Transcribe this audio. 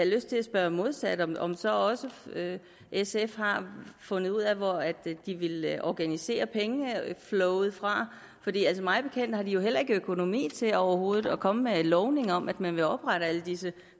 lyst til at spørge modsat om om så også sf har fundet ud af hvor de vil organisere pengeflowet fra for mig bekendt har de jo heller ikke økonomi til overhovedet at komme med lovning om at man vil oprette alle disse